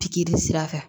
Pikiri sira kan